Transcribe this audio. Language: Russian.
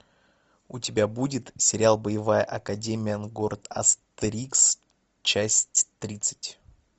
у тебя будет сериал боевая академия города астерикс часть тридцать